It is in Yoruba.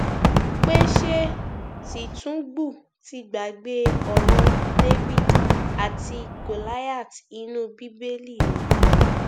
pé ṣé tìtúngbù ti gbàgbé ọrọ david àti gòláìath inú bíbélì ni